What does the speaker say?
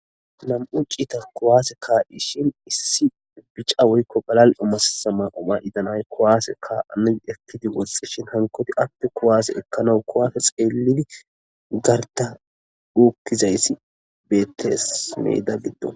Namu citani kuwase kaishshin issi bicha woyikko galalio mayida naayi kuwase kaanasi ekkidi woxxishin hsnikkoyit qase kuwase ekanawu kuwase xeelidi barika dhuqizayis beteesi meda giddoni